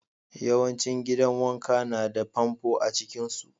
Yawancin gidan wanka na da famfo a cikin su.